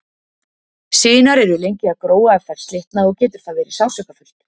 Sinar eru lengi að gróa ef þær slitna og getur það verið sársaukafullt.